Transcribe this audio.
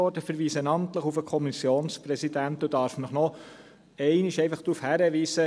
Ich verweise namentlich auf den Kommissionspräsidenten und darf Sie noch einmal darauf hinweisen: